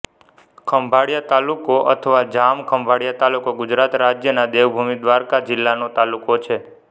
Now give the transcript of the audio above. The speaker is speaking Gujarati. ખંભાળિયા તાલુકો અથવા જામ ખંભાળિયા તાલુકો ગુજરાત રાજ્યના દેવભૂમિ દ્વારકા જિલ્લાનો તાલુકો છે